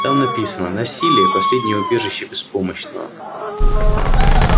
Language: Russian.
там написано насилие последнее убежище беспомощного